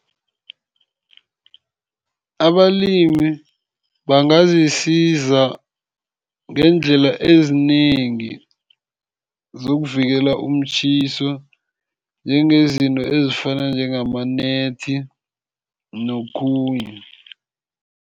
Abalimi bangazisiza ngeendlela ezinengi zokuvikela umtjhiso, njengezinto ezifana njengama-net, nokhunye.